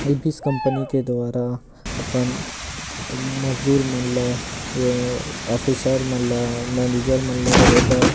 Abies company के द्वारा मजदुर मन ल ये अफिसर मन ल मैनेजर मन ल रहे बर--